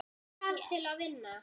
Hvað þarf til að vinna?